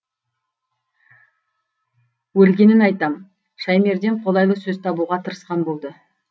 өлгенін айтам шаймерден қолайлы сөз табуға тырысқан болды